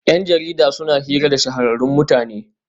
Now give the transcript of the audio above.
Yan jarida suna hira da shahararrun mutane